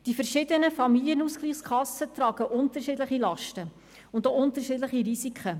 Die verschiedenen Familienausgleichskassen tragen unterschiedliche Lasten und auch unterschiedliche Risiken.